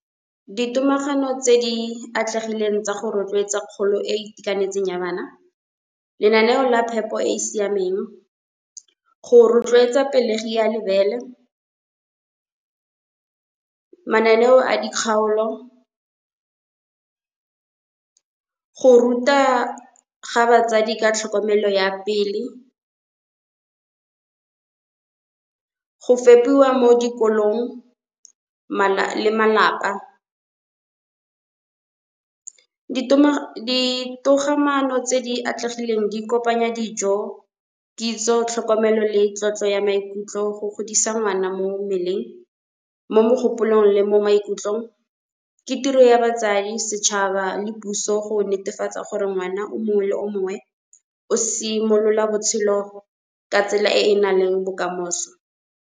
Di tomagano tse di atlegileng tsa go rotloetsa kgolo e e itekanetseng ya bana. Lenaneo la phepo e e siameng go rotloetsa pelegi ya lebele, mananeo a di kgaolo. Go ruta ga batsadi ka tlhokomelo ya pele, go fepiwa mo dikolong le malapa. Ditogamaano tse di atlegileng di kopanya dijo kitso tlhokomelo le tlotlo ya maikutlo go godisa ngwana mo mmeleng, mo mogopolong le mo maikutlong. Ke tiro ya batsadi setšhaba le puso go netefatsa gore ngwana o mongwe le o mongwe o simolola botshelo ka tsela e e nang le bokamoso.